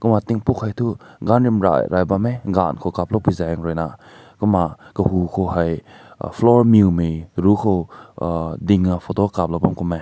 kumna tink bu hai tu gun rim rai rai bam meh gan kow kap lao pui zeng kui ruina kumna kahu ko hai floor mew nai ru ko uhh ding na kap lao kum meh.